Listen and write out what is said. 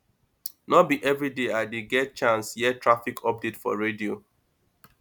no be everyday i dey get chance hear traffic update for radio